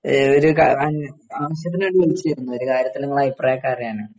ആ ഒരു കാ ആവശ്യത്തിനുവേണ്ടി വിളിച്ചതാ ഒരു കാര്യത്തില് നിങ്ങളുടെ അഭിപ്രായം ഒക്കെ അറിയാൻ